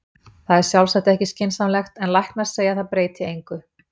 Þetta er sjálfsagt ekki skynsamlegt, en læknar segja að það breyti engu.